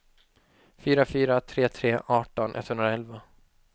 fyra fyra tre tre arton etthundraelva